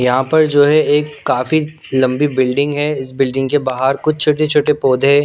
यहाँ पर जो है एक काफी लंबी बिल्डिंग है इस बिल्डिंग के बाहर कुछ छोटे छोटे पौधे--